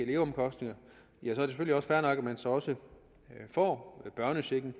leveomkostninger at man så så får børnechecken